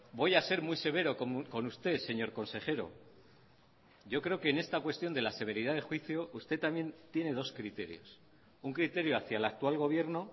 voy a ser muy severo con usted señor consejero yo creo que en esta cuestión de la severidad de juicio usted también tiene dos criterios un criterio hacia el actual gobierno